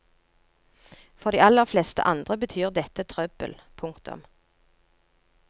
For de aller fleste andre betyr dette trøbbel. punktum